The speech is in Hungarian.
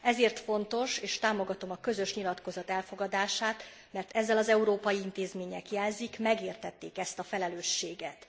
Ezért fontos és támogatom a közös nyilatkozat elfogadását, mert ezzel az európai intézmények jelzik, megértették ezt a felelősséget.